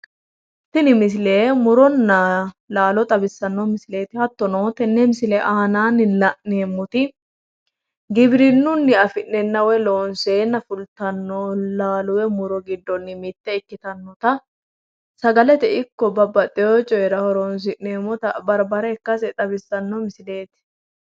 Tini misile muronna laalo xawissanno misileeti hattono tenne misile aanaanni la'neemmoti giwirinnunni afi'neenna woy loonseenna fultannolaalo woy muro giddo mitte ikkitanmota sagalete ikko babbaxxeyo coyiira horonsi'neemmota barbare ikkase xawissanno misileeti.